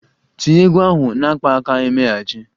Tinye egwu ahụ na akpaaka-emeghachi!